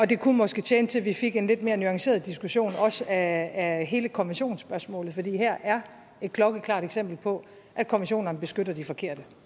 det kunne måske tjene til at vi fik en lidt mere nuanceret diskussion af hele konventionsspørgsmålet for her er et klokkeklart eksempel på at konventionerne beskytter de forkerte